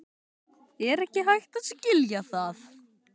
Er ekki hægt að skilja það?